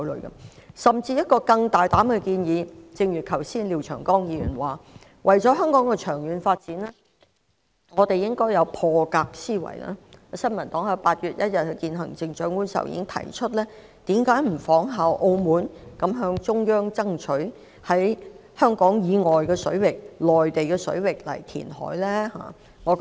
我甚至有一個更大膽的建議——正如廖長江議員剛才所說，為了香港的長遠發展，我們應該有破格思維——新民黨在8月1日與行政長官會晤時曾提出，政府為甚麼不仿效澳門的做法，向中央爭取在香港以外的水域填海？